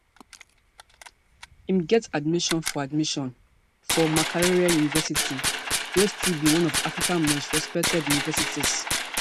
im get admission for admission for makerere university wey still be one of africa most respected universities